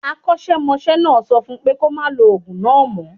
Akọ́ṣẹ́mọṣẹ́ náà sọ fún pé kó máa lo ògùn náà mo